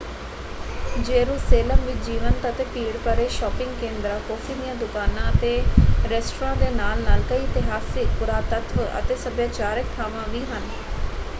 Jerusalem ਵਿੱਚ ਜੀਵੰਤ ਅਤੇ ਭੀੜ-ਭਰੇ ਸ਼ਾਪਿੰਗ ਕੇਂਦਰਾਂ ਕੌਫ਼ੀ ਦੀਆਂ ਦੁਕਾਨਾਂ ਅਤੇ ਰੈਸਟਰਾਂ ਦੇ ਨਾਲ-ਨਾਲ ਕਈ ਇਤਿਹਾਸਕ ਪੁਰਾਤੱਤਵ ਅਤੇ ਸੱਭਿਆਚਾਰਕ ਥਾਵਾਂ ਵੀ ਹਨ।